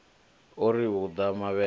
ho ri u ḓa mavhele